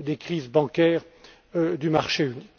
des crises bancaires du marché unique.